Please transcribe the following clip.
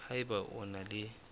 ha eba o na le